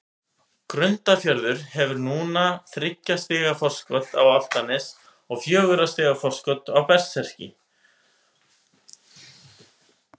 Grundarfjörður hefur núna þriggja stiga forskot á Álftanes og fjögurra stiga forskot á Berserki.